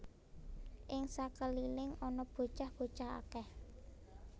Ing sakeliling ana bocah bocah akèh